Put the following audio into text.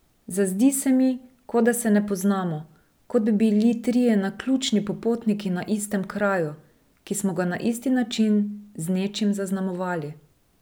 Zazdi se mi, kot da se ne poznamo, kot bi bili trije naključni popotniki na istem kraju, ki smo ga na isti način z nečim zaznamovali.